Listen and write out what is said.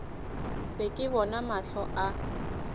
be ke bona mahlo a